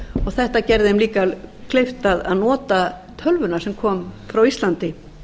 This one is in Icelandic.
þetta gerði þeim auka kleift að nota tölvunar sem kom frá íslandi